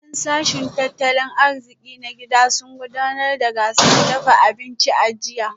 Daliban sashen tattalin arziki na gida sun gudanar da gasar dafa abinci a jiya